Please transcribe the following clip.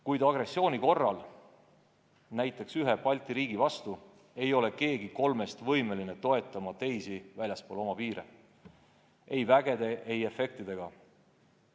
Kuid agressiooni korral, näiteks ühe Balti riigi vastu, ei ole keegi kolmest võimeline toetama teisi väljaspool oma piire ei üksuste ega efektidega.